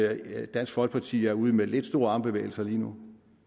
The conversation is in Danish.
at dansk folkeparti er ude med lidt store armbevægelser lige nu